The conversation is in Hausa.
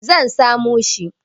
Ni zan samo shi.